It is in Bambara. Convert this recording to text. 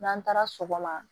N'an taara sɔgɔma